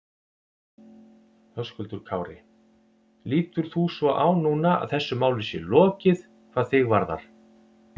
Höskuldur Kári: Lítur þú svo á núna að þessu máli sé lokið hvað þig varðar?